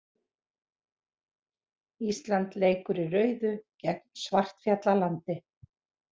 Ísland leikur í rauðu gegn Svartfjallalandi